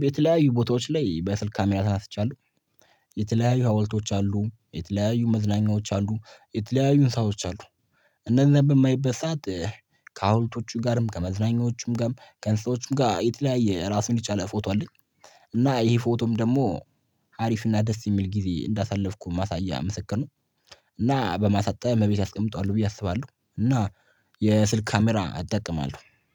በተለያዩ ቦታዎች ላይ በስልክ ካሜራ ተነስቻለሁ። የተለያዩ ሀውልቶች አሉ የተለያዩ መዝናኛዎች አሉ የተለያዩ እንስሳዎች አሉ እነዛን በማይበት ሰዓት ከሐውልቶቹ ጋርም ከመዝናኛዎቹም ጋርም ከእንስሳዎቹም ጋር የተለያየ ራሱን የቻለ ፎቶ አለኝ። እና ይሄ ፎቶም ደግሞ አሪፍና ደስ የሚል ጊዜ እንዳሳለፍኩ ማሳያ ምስክር ነው። እና በማሳጠብ እቤት አስቀምጠዋለሁ ብዬ አስባለሁ እና የስልክ ካሜራ እጠቀማለሁ።